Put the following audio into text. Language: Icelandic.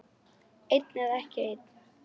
Einn eða ekki einn.